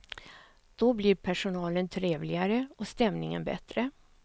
Då blir personalen trevligare och stämningen bättre.